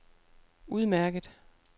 udmærket